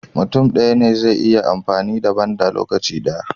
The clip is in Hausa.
Mutun daya ne zai iya amfani da banda a lokaci daya